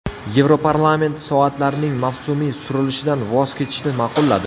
Yevroparlament soatlarning mavsumiy surilishidan voz kechishni ma’qulladi.